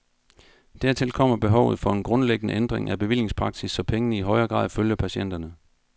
Dertil kommer behovet for en grundlæggende ændring af bevillingspraksis, så pengene i højere grad følger patienterne.